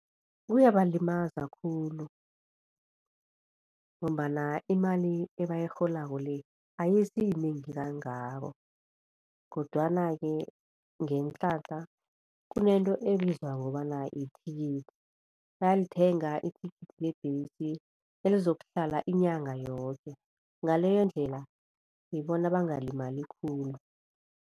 Kuyabalimaza khulu ngombana imali ebayirholako le ayisiyinengi kangako kodwana-ke ngeenhlahla kunento ebizwa ngokobana yithikithi bayalithenga ithikithi lebhesi elizokuhlala inyanga yoke ngaleyo ndlela ngibona bangalimali khulu.